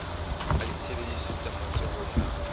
a ditsebiso tse matsohong a